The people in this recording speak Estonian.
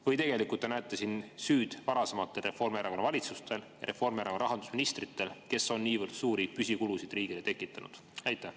Või tegelikult te näete süüd varasematel Reformierakonna valitsustel, Reformierakonna rahandusministritel, kes on niivõrd suuri püsikulusid riigile tekitanud?